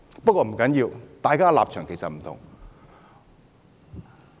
不過，不要緊，大家的立場不同。